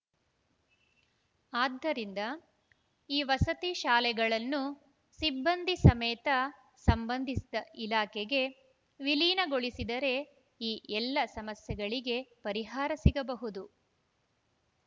ಆದ್ದರಿಂದ ಈ ವಸತಿ ಶಾಲೆಗಳನ್ನು ಸಿಬ್ಬಂದಿ ಸಮೇತ ಸಂಬಂಧಿಸಿದ ಇಲಾಖೆಗೆ ವಿಲೀನಗೊಳಿಸಿದರೆ ಈ ಎಲ್ಲ ಸಮಸ್ಯೆಗಳಿಗೆ ಪರಿಹಾರ ಸಿಗಬಹುದು